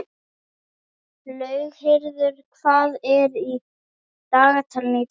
Laugheiður, hvað er í dagatalinu í dag?